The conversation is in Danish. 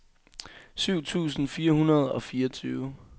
syv tusind fire hundrede og fireogtyve